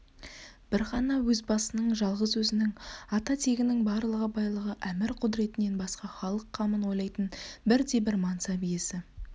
бір ғана өз басының жалғыз өзінің ата тегінің барлығы байлығы әмір-құдіретінен басқа халық қамын ойлайтын бірде-бір мансап иесі